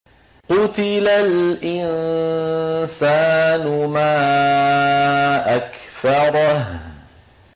قُتِلَ الْإِنسَانُ مَا أَكْفَرَهُ